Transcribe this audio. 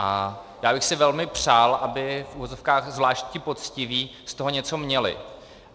A já bych si velmi přál, aby v uvozovkách zvlášť ti poctiví z toho něco měli.